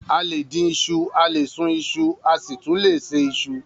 A lè dín iṣu, a lè sun iṣu asi tun le se isu.